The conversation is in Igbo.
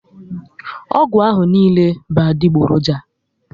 Ọgwụ ahụ niile bụ adigboroja